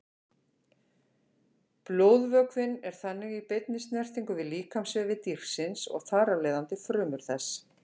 Blóðvökvinn er þannig í beinni snertingu við líkamsvefi dýrsins og þar af leiðandi frumur þess.